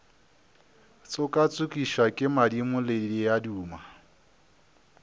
tšokatšokišwa ke madimo le diaduma